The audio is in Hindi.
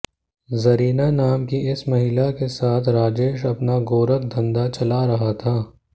जरीना नाम की इस महिला के साथ राजेश अपना गोरख धंधा चला रहा था